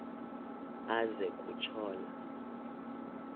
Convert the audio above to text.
aze kutsho la